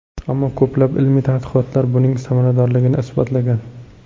Ammo ko‘plab ilmiy tadqiqotlar buning samaradorligini isbotlagan.